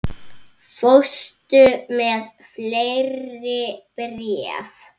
Fórstu með fleiri bréf?